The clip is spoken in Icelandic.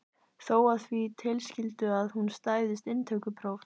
Þó að því tilskildu að hún stæðist inntökupróf.